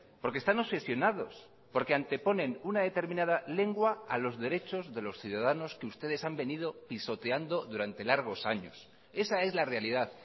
porque están obsesionados porque anteponen una determinada lengua a los derechos de los ciudadanos que ustedes han venido pisoteando durante largos años esa es la realidad